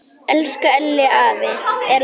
Elsku Elli afi er látin.